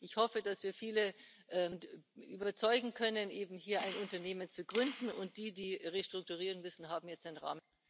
Ich hoffe, dass wir viele und überzeugen können, hier ein Unternehmen zu gründen, und die, die restrukturieren müssen, haben jetzt einen Rahmen.